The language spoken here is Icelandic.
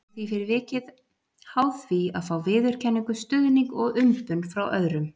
Það verður fyrir vikið háð því að fá viðurkenningu, stuðning og umbun frá öðrum.